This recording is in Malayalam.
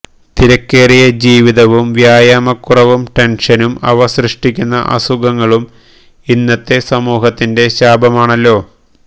തിരക്കേറിയ ജീവിതവും വ്യായാമക്കുറവും ടെന്ഷനും അവ സൃഷ്ടിക്കുന്ന അസുഖങ്ങളും ഇന്നത്തെ സമൂഹത്തിന്റെ ശാപമാണല്ലോ